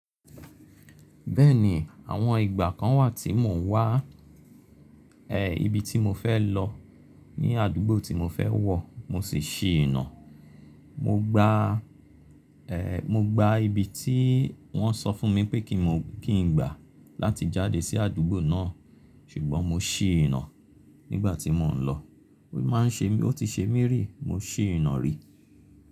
Bẹ́ẹ̀ni, àwọn ìgbà kan wà tí mò ń wá, ẹ́ ibi tí mo fẹ́ lọ ní àdúgbò tí mo fẹ́ wọ̀ mo sì ṣì í nà. Mo gba, ẹ́ mo gba ibi tí wọ́n sọ fún mi pé ki n gbà láti jáde sí àdúgbò náà, ṣùgbọ́n mo ṣì í nà nígbà tí mò ń lọ. Ó máa ń ṣe mi, ó ti ṣe mí rí, mo ṣì í nà rí.